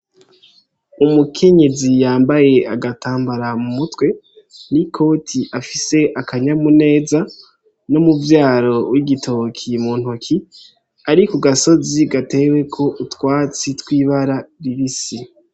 Umukenyezi yambaye agatambara mu mutwe n'ikoti afise akanyamuneza n'umuvyaro w'igitoke mu ntoke ari kugasozi gateweko utwatsi twibara ribisi.